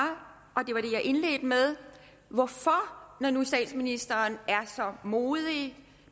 at indledte med når nu statsministeren er så modig